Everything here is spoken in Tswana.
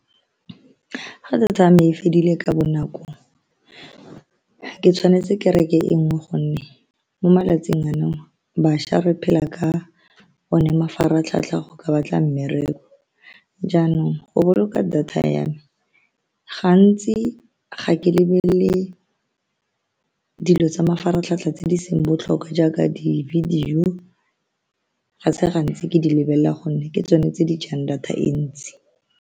Fa data ya me e fedile ka bonako, ke tshwanetse ke reke e nngwe, ka gonne mo malatsing ano bašwa re phela ka one. Mafaratlhatlha go ka batla mmereko jaanong go boloka data ya me, gantsi ga ke lebelele dilo tsa mafaratlhatlha tse di seng botlhokwa jaaka di video, ga se gantsi ke di lebelela, gonne ke tsone tse di jang data e ntsi.